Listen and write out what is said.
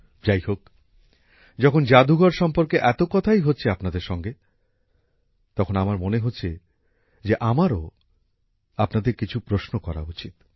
যাইহোক যখন জাদুঘর সম্পর্কে এত কথাই হচ্ছে আপনাদের সঙ্গে তখন আমার মনে হচ্ছে যে আমারও আপনাদের কিছু প্রশ্ন করা উচিত